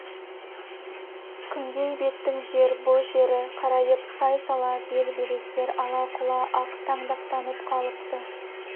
күнгей беттің жер бұ жері қарайып сай-сала бел-белестер ала-құла ақ таңдақтанып қалыпты